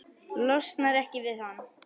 Losnar ekki við hann.